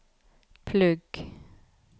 plugg